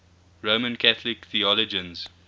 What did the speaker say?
roman catholic theologians